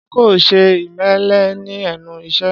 Ṣé kò ṣe ìmẹ̀lẹ̀ ní ẹnu iṣẹ́?